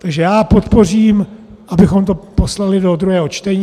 Takže já podpořím, abychom to poslali do druhého čtení.